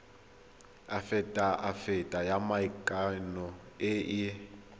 afitafiti ya maikano e e